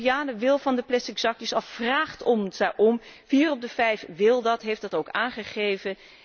De Europeaan wil van de plastic zakjes af, vraagt daarom, vier op de vijf wil dat en heeft dat ook aangegeven.